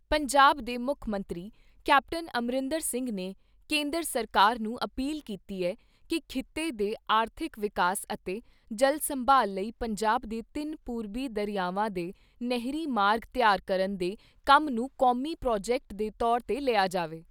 ਪੰਜਾਬ ਦੇ ਮੁੱਖ ਮੰਤਰੀ ਕੈਪਟਨ ਅਮਰਿੰਦਰ ਸਿੰਘ ਨੇ ਕੇਂਦਰ ਸਰਕਾਰ ਨੂੰ ਅਪੀਲ ਕੀਤੀ ਐ ਕਿ ਖਿੱਤੇ ਦੇ ਆਰਥਿਕ ਵਿਕਾਸ ਅਤੇ ਜਲ ਸੰਭਾਲ ਲਈ ਪੰਜਾਬ ਦੇ ਤਿੰਨ ਪੂਰਬੀ ਦਰਿਆਵਾਂ ਦੇ ਨਹਿਰੀ ਮਾਰਗ ਤਿਆਰ ਕਰਨ ਦੇ ਕੰਮ ਨੂੰ ਕੌਮੀ ਪ੍ਰਾਜੈਕਟ ਦੇ ਤੌਰ 'ਤੇ ਲਿਆ ਜਾਵੇ।